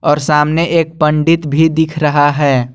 और सामने एक पंडित भी दिख रहा है।